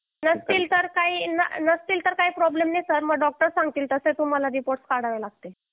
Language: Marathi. नसतील तर काय प्रॉब्लेम नाही सर पण नंतर डॉक्टर सांगतील तसे तुम्हाला रिपोर्ट काढावे लागतील